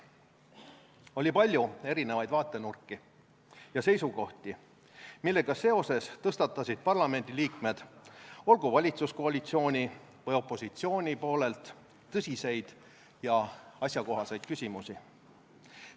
Oli palju erinevaid vaatenurki ja seisukohti, millega seoses tõstatasid parlamendiliikmed, olgu valitsuskoalitsiooni või opositsiooni poolelt, tõsiseid ja asjakohaseid küsimusi.